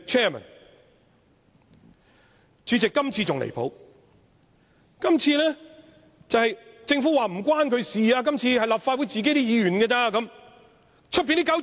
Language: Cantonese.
代理主席，今次更離譜，政府今次說與它無關，是立法會議員自己的事。